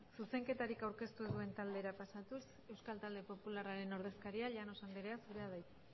zuzenketarik aurkeztu ez duen taldera pasatuz euskal talde popularraren ordezkaria llanos anderea zurea da hitza